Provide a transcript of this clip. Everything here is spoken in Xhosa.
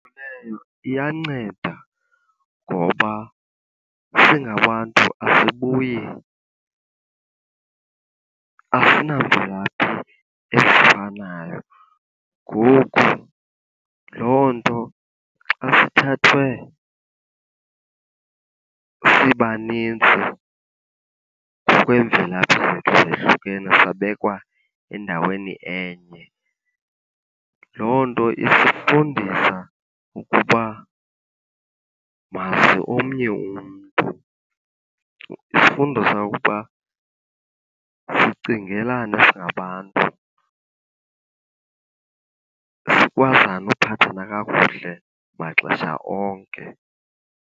iyanceda ngoba singabantu asibuyi, asinangxaki ezifanayo. Ngoku loo nto xa sithathwe sibanintsi ngokweemvelaphi zethu ezohlukene sabekwa endaweni enye, loo nto isifundisa ukuba mazi omnye umntu. Isifundisa ukuba sicingelane singabantu, sikwazane uphathana kakuhle maxesha onke.